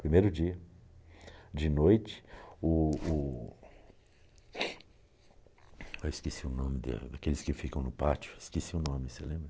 Primeiro dia, de noite, o o... eu esqueci o nome da, daqueles que ficam no pátio, esqueci o nome, você lembra?